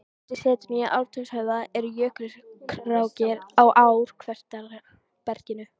Undir setinu í Ártúnshöfða eru jökulrákir á ár-kvartera berginu.